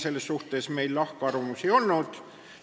Selles meil lahkarvamusi ei olnud.